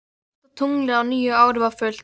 Og fyrsta tunglið á nýju ári var fullt.